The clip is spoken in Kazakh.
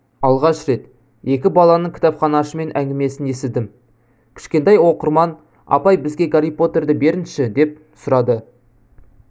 алғаш рет екі баланың кітапханашымен әңгімесін естідім кішкентай оқырман апай бізге гарри поттерді беріңізші деп сұрады